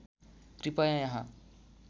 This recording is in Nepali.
कृपया यहाँ